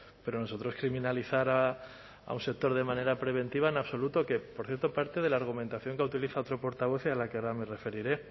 pero nosotros criminalizar a un sector de manera preventiva en absoluto que por cierto parte de la argumentación que ha utiliza otro portavoz y a la que ahora me referiré